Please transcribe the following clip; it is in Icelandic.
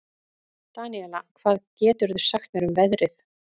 Daníela, hvað geturðu sagt mér um veðrið?